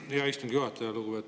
Aitäh, hea istungi juhataja!